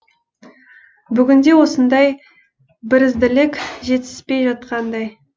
бүгінде осындай бірізділік жетіспей жатқандай